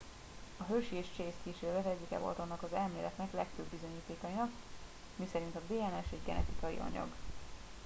a hershey és chase kísérlet egyike volt annak az elméletnek legfőbb bizonyítékainak miszerint a dns egy genetikai anyag